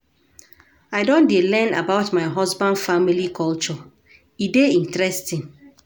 I don dey learn about my husband family culture, e dey interesting